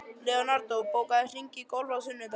Leonardó, bókaðu hring í golf á sunnudaginn.